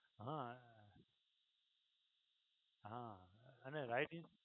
હા હા અને right insurance